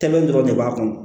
Tɛlɛ dɔrɔn de b'a kɔnɔ